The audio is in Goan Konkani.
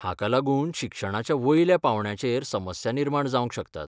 हाका लागून शिक्षणाच्या वयल्या पांवड्याचेर समस्या निर्माण जावंक शकतात.